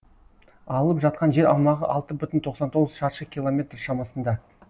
алып жатқан жер аумағы алты бүтін тоқсан тоғыз шаршы километр шамасында